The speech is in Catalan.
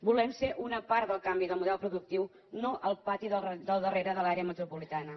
volem ser una part del canvi del model productiu no el pati del darrere de l’àrea metropolitana